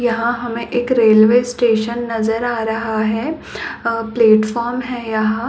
यहाँ हमे एक रेलवे स्टेशन नज़र आ रहा है अ पेलेटफोर्म है यहाँ --